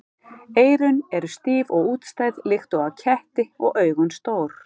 Eyrun eru stíf og útstæð líkt og á ketti og augun stór.